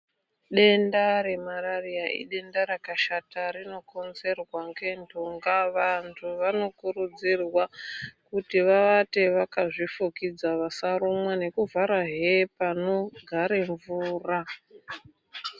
Denda remarariya idenda rakashata, rinokonzerwa ngendhunga. Vantu vanokurudzirwa kuti vavate vakazvifukidza vasarumwa nekuvhara hepanogare mvura.